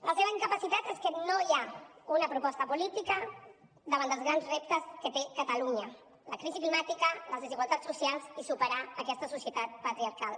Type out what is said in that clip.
la seva incapacitat és que no hi ha una proposta política davant dels grans reptes que té catalunya la crisi climàtica les desigualtats socials i superar aquesta societat patriarcal